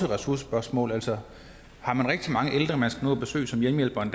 ressourcespørgsmål altså har man rigtig mange ældre man skal nå at besøg som hjemmehjælper i